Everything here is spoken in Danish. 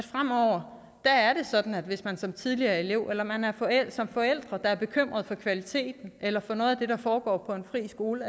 fremover er sådan at hvis man som tidligere elev eller som forælder er bekymret for kvaliteten eller for noget af det der foregår på en fri skole